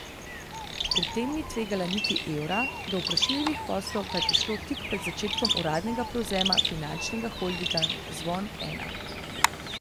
Pri tem ni tvegala niti evra, do vprašljivih poslov pa je prišlo tik pred začetkom uradnega prevzema finančnega holdinga Zvon Ena.